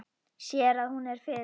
Sér að hún er fyrir.